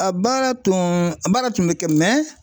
A baara tun baara tun bɛ kɛ